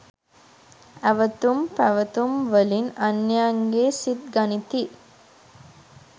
ඇවතුම් පැවතුම් වලින් අන්‍යයන්ගේ සිත් ගනිති.